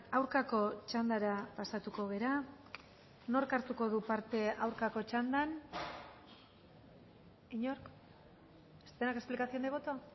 aurkako txandara pasatuko gara nork hartuko du parte aurkako txandan inork explicación de voto